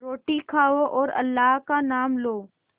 रोटी खाओ और अल्लाह का नाम लो